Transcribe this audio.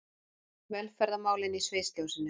Velferðarmálin í sviðsljósinu